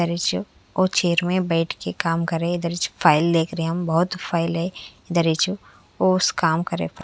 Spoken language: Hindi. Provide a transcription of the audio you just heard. दरिच और छेर में बैठ के काम कर रहे हैं दरिच फाइल देख रहे हैं हम बहुत फाइल हैं दरिच ओस काम कर--